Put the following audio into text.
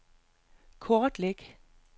kortlæg